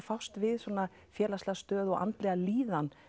fást við svona félagslega stöðu og andlega líðan